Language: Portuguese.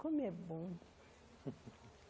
Como é bom.